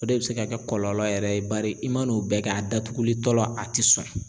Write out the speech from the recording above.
O de bɛ se ka kɛ kɔlɔlɔ yɛrɛ ye , bari i man n'o bɛɛ kɛ a datuguli tɔ la a tɛ sɔn